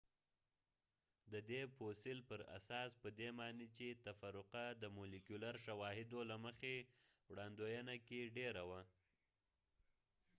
د دې فوسیل پراساس پدې معنی چې تفرقه د مولیکولر شواهدو له مخې وړاندوینه کې ډیره وه